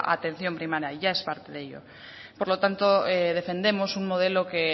atención primaria ya es parte de ello por lo tanto defendemos un modelo que